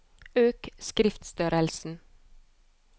Øk skriftstørrelsen